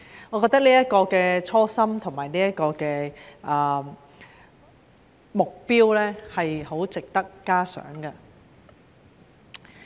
我覺得這種初心和目標相當值得嘉賞。